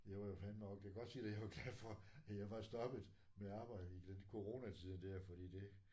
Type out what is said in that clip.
Jeg var jo fandeme også det kan godt sige dig jeg var glad for at jeg var stoppet med at arbejde i den coronatiden der fordi det